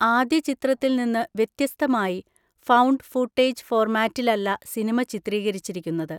ആദ്യചിത്രത്തിൽനിന്നു വ്യത്യസ്തമായി, found footage ഫോർമാറ്റിലല്ല സിനിമ ചിത്രീകരിച്ചിരിക്കുന്നത്.